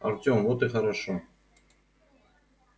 артём вот и хорошо